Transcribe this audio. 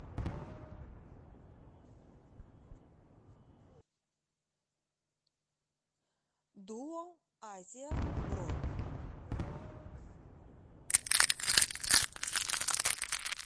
дуо азия бронь